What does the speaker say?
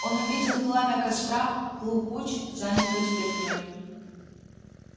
он увидел пламя костра клу куч занятую стряпней